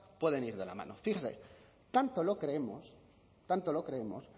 pueden ir de la mano fíjese tanto lo creemos tanto lo creemos